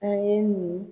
An ye nin